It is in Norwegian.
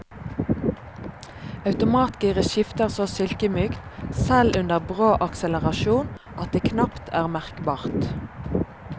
Automatgiret skifter så silkemykt, selv under brå akselerasjon, at det knapt er merkbart.